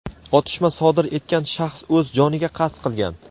otishma sodir etgan shaxs o‘z joniga qasd qilgan.